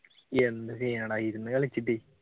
എന്ത് ചെയാനാട്ട ഇരുന്നു കളിച്ചിട്ടേ